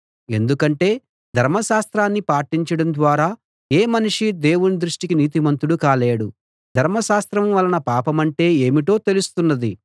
ఎందుకంటే ధర్మశాస్త్రాన్ని పాటించడం ద్వారా ఏ మనిషీ దేవుని దృష్టికి నీతిమంతుడు కాలేడు ధర్మశాస్త్రం వలన పాపమంటే ఏమిటో తెలుస్తున్నది